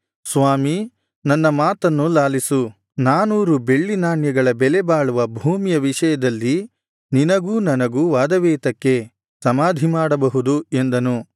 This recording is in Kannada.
ಸ್ವಾಮಿ ನನ್ನ ಮಾತನ್ನು ಲಾಲಿಸು ನಾನೂರು ಬೆಳ್ಳಿ ನಾಣ್ಯಗಳ ಬೆಲೆಬಾಳುವ ಭೂಮಿಯ ವಿಷಯದಲ್ಲಿ ನಿನಗೂ ನನಗೂ ವಾದವೇತಕ್ಕೆ ಸಮಾಧಿಮಾಡಬಹುದು ಎಂದನು